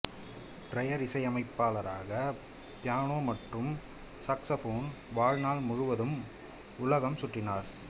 prayer இசையமைப்பாளராக piano மற்றும் saxophone வாழ்நாள் முழுவதும் உலகம் சுற்றினார்